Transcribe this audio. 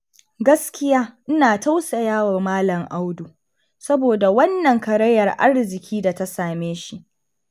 Gaskiya ina tausayawa Malam Audu, saboda wannan karayar arziki da ta same shi